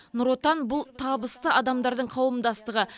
нұр отан бұл табысты адамдардың қауымдастығы